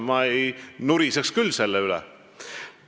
Ma küll ei nuriseks selle üle.